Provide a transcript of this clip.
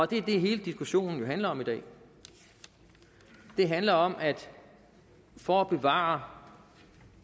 det er det hele diskussionen jo handler om i dag det handler om at for at bevare